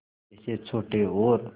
जैसे छोटे और